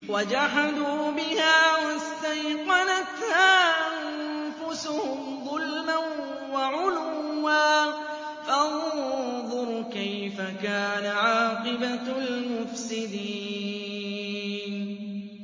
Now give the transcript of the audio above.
وَجَحَدُوا بِهَا وَاسْتَيْقَنَتْهَا أَنفُسُهُمْ ظُلْمًا وَعُلُوًّا ۚ فَانظُرْ كَيْفَ كَانَ عَاقِبَةُ الْمُفْسِدِينَ